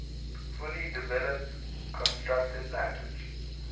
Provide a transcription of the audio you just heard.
fully developed constructed language